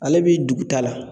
Ale bi dugu ta la